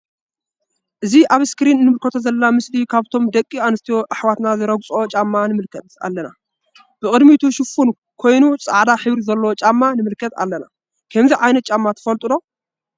እዚ አብ እስክሪን እንምልከቶ ዘለና ምስሊ ካብቶም ደቂ አንስትዮ አሕዋትና ዝረግፅኦ ጫማ ንምልከት አለና ብ ቅዲሙቱ ሽፉን ኮይኑ ፃዕዳ ሕብሪ ዘለዎ ጫማ ንምልከት አለና::ከምዚ ዓይነት ጫማ ትፈልጡ ዶ?